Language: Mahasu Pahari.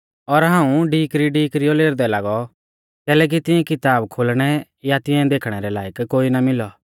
और हाऊं ढीकरीढीकरीयौ लेरदै लागौ कैलैकि तिऐं किताब खोलणै या तिऐं देखणै रै लायक कोई ना मिलौ